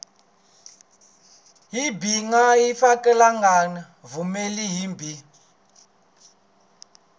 byi nga fikelelangi vundzeni byi